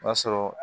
O y'a sɔrɔ